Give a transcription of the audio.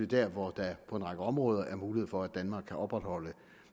der hvor der på en række områder er mulighed for at danmark kan opretholde